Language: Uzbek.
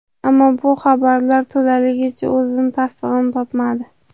Ammo bu xabarlar to‘laligicha o‘z tasdig‘ini topmadi.